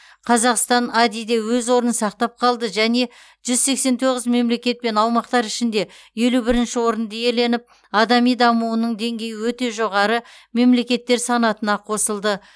қазақстан ади де өз орнын сақтап қалды жәнежүз сексен тоғыз мемлекет пен аумақтар ішінде елу бірінші орынды иеленіп адами дамуының деңгейі өте жоғары мемлекеттер санатына қосылды